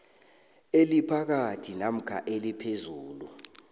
eliphakathi namkha eliphezulu